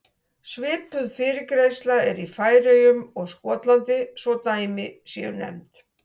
Svipuð fyrirgreiðsla er í Færeyjum og Skotlandi svo að dæmi séu nefnd.